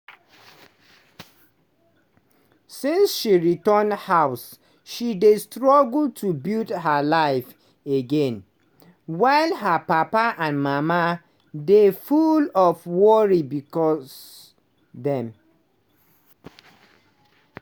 since she return house she dey struggle to build her life again while her papa and mama dey full of worry becos dem